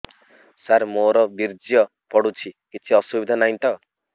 ସାର ମୋର ବୀର୍ଯ୍ୟ ପଡୁଛି କିଛି ଅସୁବିଧା ନାହିଁ ତ